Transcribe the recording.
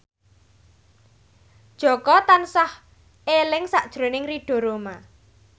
Jaka tansah eling sakjroning Ridho Roma